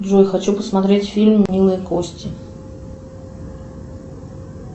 джой хочу посмотреть фильм милые кости